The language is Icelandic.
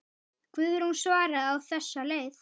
Guðrún svaraði á þessa leið.